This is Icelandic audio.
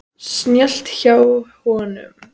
Snjallt hjá honum.